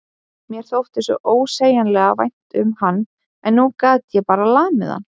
Mér þótti svo ósegjanlega vænt um hann en nú gat ég bara lamið hann.